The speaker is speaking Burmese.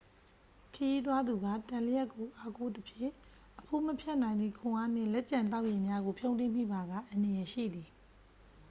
ခရီးသွားသူက တံလျှပ်ကို အားကိုးသဖြင့် အဖိုးမဖြတ်နိုင်သည့် ခွန်အားနှင့် လက်ကျန်သောက်ရေများကို ဖြုန်းတီးမိပါက အန္တရာယ်ရှိသည်